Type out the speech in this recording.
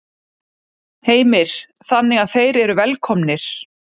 Heimir: Þannig að þeir eru velkomnir?